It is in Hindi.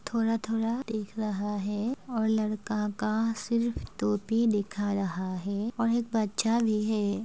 थोरा-थोरा दिख रहा है और लड़का का सिर्फ टोपी दिखा रहा है और एक बच्चा भी है।